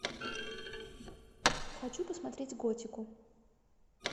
хочу посмотреть готику